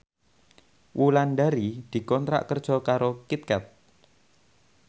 Wulandari dikontrak kerja karo Kit Kat